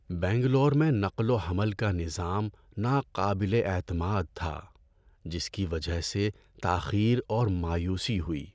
بنگلور میں نقل و حمل کا نظام ناقابل اعتماد تھا، جس کی وجہ سے تاخیر اور مایوسی ہوئی۔